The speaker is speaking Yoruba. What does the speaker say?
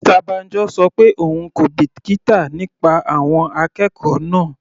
Mr Banjo ṣọ pé òun kò bìkítà nípa àwọn akẹ́kọ̀ọ́ náà.